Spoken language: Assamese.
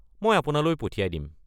মই আপোনালৈ পঠিয়াই দিম।